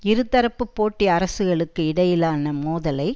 இருதரப்பு போட்டி அரசுகளுக்கு இடையிலான மோதலை